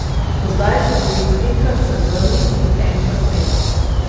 Do zdaj so bili trikrat srebrni in enkrat tretji.